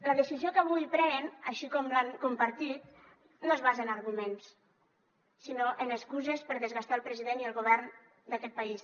la decisió que avui prenen així com l’han compartit no es basa en arguments sinó en excuses per desgastar el president i el govern d’aquest país